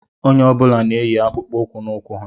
Onye ọbula n'ènyì akpụkpọ ụkwụ n'ụkwụ ha